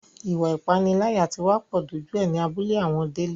Ìwà ìpániláyà tí wá pọ̀ dójú ẹ ní abúlé àwọn Délé